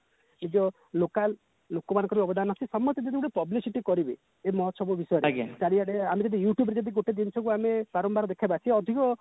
local ଲୋକ ମନ୍କର ଅବଦାନ ଅଛି ସମସ୍ତେ ସେଠି publicityକରିବେ ସେ ମହୋଚ୍ଚବ ବିଷୟରେ ଚାରିଆଡେ ଆମେ ଯଦି youtube ରେ ଗୋଟେ ଅଧିକ